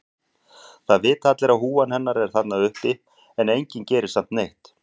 Það vita allir að húfan hennar er þarna uppi en enginn gerir samt neitt.